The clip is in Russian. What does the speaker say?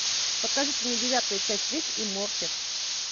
покажите мне девятую часть рик и морти